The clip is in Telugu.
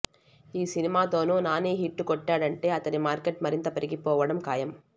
ఈ సినిమాతోనూ నాని హిట్టు కొట్టాడంటే అతడి మార్కెట్ మరింత పెరిగిపోవడం ఖాయం